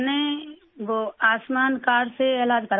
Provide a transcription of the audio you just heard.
میں نے وہ آیوشمان کارڈ سے علاج کروایا ہے